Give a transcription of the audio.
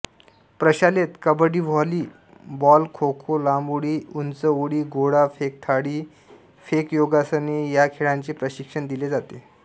प्रशालेत कबड्डीव्हॉलीबॉलखोखोलांब उडीउंच उडीगोळा फेकथाळी फेकयोगासने या खेळांचे प्रशिक्षण दिले जाते